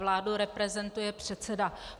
Vládu reprezentuje předseda.